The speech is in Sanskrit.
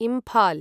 इम्फाल्